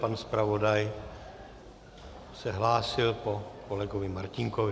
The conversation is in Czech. Pan zpravodaj se hlásil po kolegovi Martínkovi.